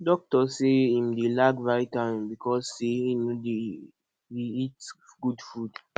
doctor say im dey lack vitamin because say he no dey eat good food